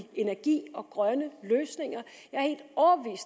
energi og grønne løsninger